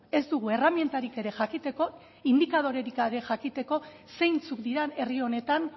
ez dugu erremintarik ere jakiteko indikadorerik gabe jakiteko zeintzuk diren herri honetan